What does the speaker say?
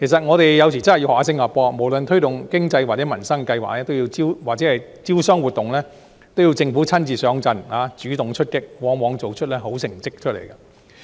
我們有時候真的要向新加坡學習，無論是推動經濟或民生計劃或招商活動，政府都會親自上陣，主動出擊，往往做出好成績。